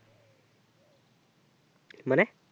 মানে